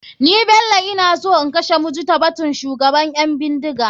Ni bello ina so in kashe mujitabatun shugaban ƴan bindiga.